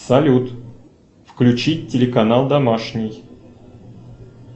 салют включить телеканал домашний